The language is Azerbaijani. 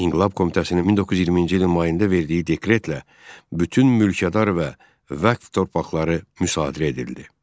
İnqilab Komitəsinin 1920-ci ilin mayında verdiyi dekretlə bütün mülkədar və vəqf torpaqları müsadirə edildi.